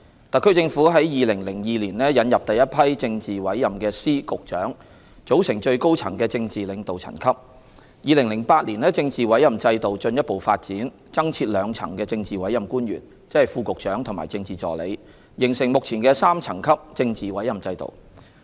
特區政府在2002年引入第一批政治委任的司、局長，組成最高層的政治領導層級 ；2008 年政治委任制度進一步發展，增設兩層政治委任官員，即副局長和政治助理，形成目前的3層級政治委任制度。